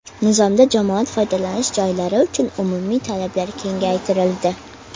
Nizomda jamoat foydalanish joylari uchun umumiy talablar kengaytirildi.